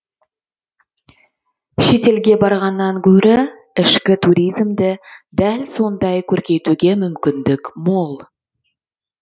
шетелге барғаннан гөрі ішкі туризмді дәл сондай көркейтуге мүмкіндік мол